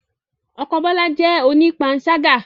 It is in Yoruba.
Ọkọ Bola jẹ́ onipansaga